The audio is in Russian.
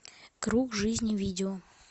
круг жизни видео